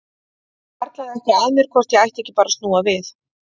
Það hvarflaði að mér hvort ég ætti ekki bara að snúa við.